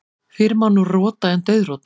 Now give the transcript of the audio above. Fyrr má nú rota en dauðrota.